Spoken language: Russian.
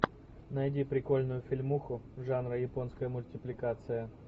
найди прикольную фильмуху жанра японская мультипликация